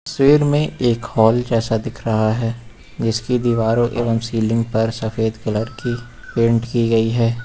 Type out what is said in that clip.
तस्वीर में एक हाल जैसा दिख रहा है जिसकी दीवारों एवं सीलिंग पर सफेद कलर की पेंट की गई है।